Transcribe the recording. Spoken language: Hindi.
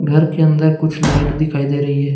घर के अंदर कुछ लाइट दिखाई दे रही है।